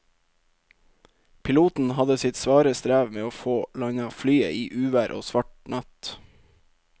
Piloten hadde sitt svare strev med å få landet flyet i uvær og svart natt.